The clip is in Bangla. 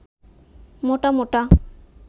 মোটা মোটা